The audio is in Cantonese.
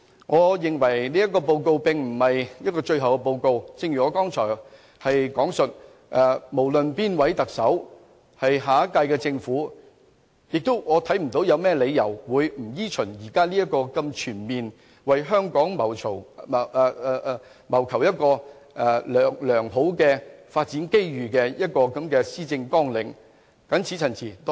我認為這個施政報告並非最後的報告，正如我剛才所說，不論哪一位行政長官候選人成為下屆政府之首，我看不到它有甚麼理由會不依循這個如此全面、為香港謀求良好發展機遇的施政綱領發展。